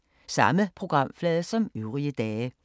Samme programflade som øvrige dage